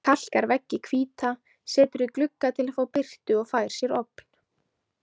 Kalkar veggi hvíta, setur í glugga til að fá birtu og fær sér ofn.